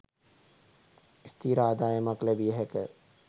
ස්ථිර ආදායමක් ලැබිය හැක